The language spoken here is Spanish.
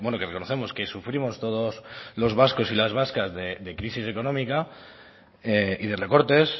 que reconocemos que sufrimos todos los vascos y las vascas de crisis económica y de recortes